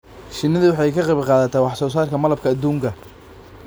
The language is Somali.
Shinnidu waxay ka qayb qaadataa wax soo saarka malabka aduunka.